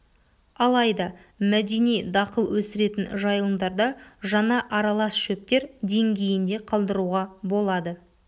алайда мәдени дақыл өсіретін жайылымдарда жаңа аралас шөптер деңгейінде қалдыруға болады